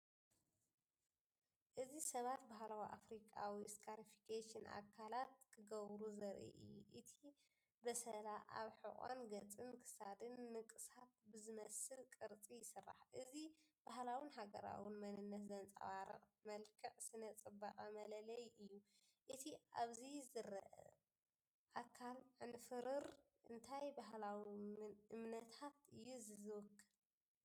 እዚ ሰባት ባህላዊ ኣፍሪካዊ ስካሪፊኬሽን ኣካላት ክገብሩ ዘርኢ እዩ። እቲ በሰላ ኣብ ሕቖን ገጽን ክሳድን ንቕሳት ብዝመስል ቅርጺ ይስራሕ። እዚ ባህላውን ሃገራውን መንነት ዘንጸባርቕ መልክዕ ስነ-ጽባቐ መለለዪ እዩ። እቲ ኣብዚ ዝረአ ኣካል ዕንፍሩር እንታይ ባህላዊ እምነታት እዩ ዚውክል?